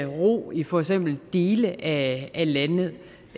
ro i for eksempel dele af